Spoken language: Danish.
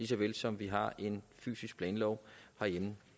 så vel som at vi har en fysisk planlov herhjemme